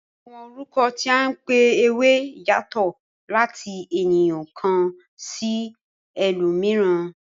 Àwọn orúkọ tí a n pé ewé yatọ̀ láti ènìyàn kàn sí elòmíràn.